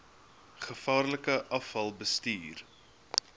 gevaarlike afval bestuur